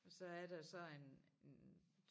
Og så er der så en en